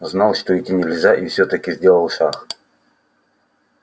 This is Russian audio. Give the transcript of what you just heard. знал что идти нельзя и всё-таки сделал шаг